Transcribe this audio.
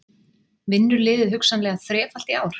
Vinnur liðið hugsanlega þrefalt í ár?